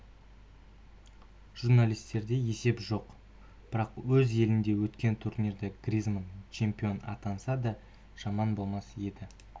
журналистерде есеп жоқ бірақ өз елінде өткен турнирде гризманн чемпион атанса да жаман болмас еді